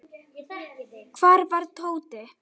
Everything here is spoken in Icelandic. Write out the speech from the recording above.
Hvar var Tóti?